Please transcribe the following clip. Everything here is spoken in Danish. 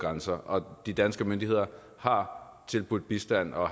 grænser og de danske myndigheder har tilbudt bistand og